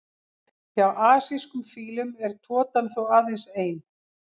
Hjá asískum fílum er totan þó aðeins ein.